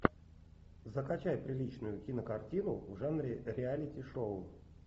закачай приличную кинокартину в жанре реалити шоу